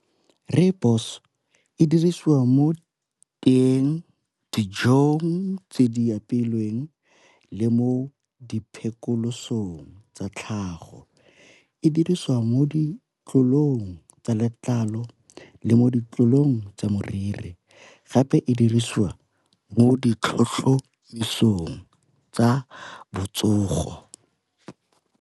Rooibos e dirisiwa mo teeng, dijong tse di apeilweng, le mo di tsa tlhago e diriswa mo ditlong tsa letlalo le mo ditlolong tsa moriri, gape e dirisiwa mo ditlhotlhomisong tsa botsogo.